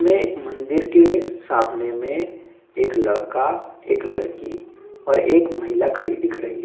हमें एक मंदिर के सामने में एक लड़का एक लड़की और एक महिला खड़ी दिख रही।